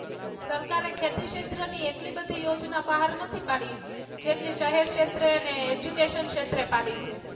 સરકારે ખેતી ક્ષેત્ર ની એટલી બધી યોજના બહાર નથી પાડી જેટલી શહેર ક્ષેત્રે અને Education ક્ષેત્રે પાડી છે.